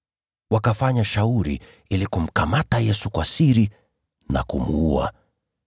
Wakafanya shauri ili kumkamata Yesu kwa siri na kumuua.